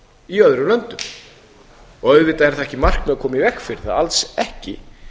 í öðrum löndum auðvitað er það ekki markmið að koma í veg fyrir það alls ekki